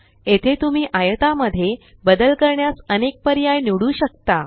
येथे तुम्ही आयता मध्ये बदल करण्यास अनेक पर्याय निवडू शकता